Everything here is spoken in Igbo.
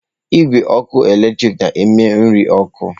Igwe ọkụ eletrik na-eme nri ọkụ.